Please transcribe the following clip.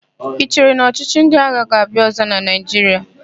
I chere na ọchịchị ndị agha ga-abịa ọ̀zọ́ na Naịjiria?